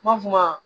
N ma f'o ma